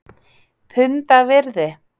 Punda virði??!?